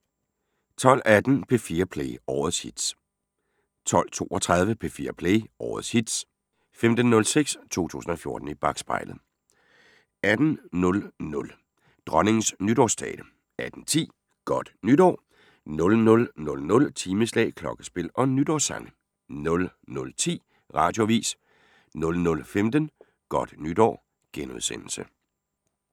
12:18: P4 Play – årets hits 12:32: P4 Play – årets hits 15:06: 2014 i bakspejlet 18:00: Dronningens nytårstale 18:10: Godt nytår 00:00: Timeslag, klokkespil og nytårssange 00:10: Radioavis 00:15: Godt nytår *